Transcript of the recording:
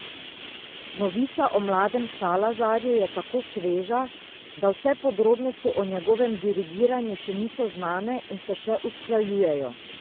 Novica o mladem Salazarju je tako sveža, da vse podrobnosti o njegovem dirigiranju še niso znane in se še usklajujejo.